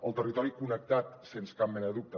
el territori connectat sens cap mena de dubte